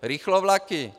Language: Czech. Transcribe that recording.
Rychlovlaky?